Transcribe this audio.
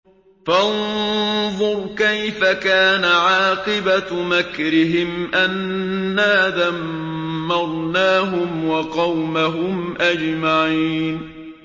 فَانظُرْ كَيْفَ كَانَ عَاقِبَةُ مَكْرِهِمْ أَنَّا دَمَّرْنَاهُمْ وَقَوْمَهُمْ أَجْمَعِينَ